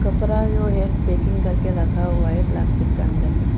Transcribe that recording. कपड़ा जो है पैकिंग करके रखा हुआ है प्लास्टिक के अंदर में।